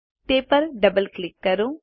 તે પર double click કરો